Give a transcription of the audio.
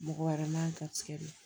Mɔgɔ wɛrɛ man garisigɛ don